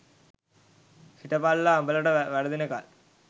හිටපල්ලා උඹලට වරදිනකල්